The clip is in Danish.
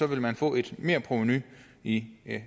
vil man få et merprovenu i